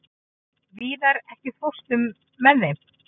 Víðar, ekki fórstu með þeim?